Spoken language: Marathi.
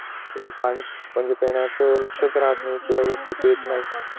कि पाणी पिण्याचं लक्ष्यात राहत नाही